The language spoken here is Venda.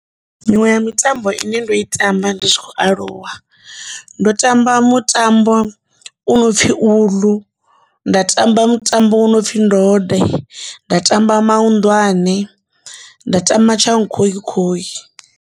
Miṅwe ya mitambo ine nda i tamba ndi tshi khou aluwa ndo tamba mutambo u no pfhi uḽu, nda tamba mutambo wo no pfhi ndode, nda tamba mahunḓwane, nda tamba tshankhokhoi.